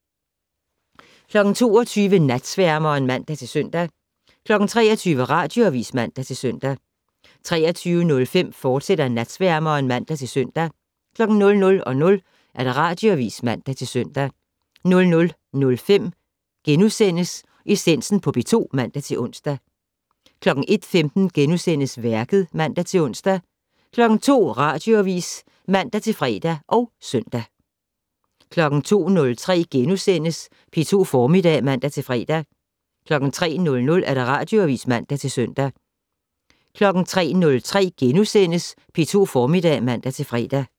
22:00: Natsværmeren (man-søn) 23:00: Radioavis (man-søn) 23:05: Natsværmeren, fortsat (man-søn) 00:00: Radioavis (man-søn) 00:05: Essensen på P2 *(man-ons) 01:15: Værket *(man-ons) 02:00: Radioavis (man-fre og søn) 02:03: P2 Formiddag *(man-fre) 03:00: Radioavis (man-søn) 03:03: P2 Formiddag *(man-fre)